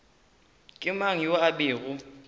ke mang yoo a bego